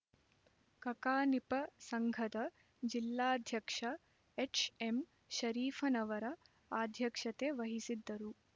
ಕಕಾನಿಪ ಸಂಘದ ಜಿಲ್ಲಾಧ್ಯಕ್ಷ ಎಚ್ಎಂಶರೀಫನವರ ಅಧ್ಯ ಕ್ಷತೆವಹಿಸಿದ್ದರು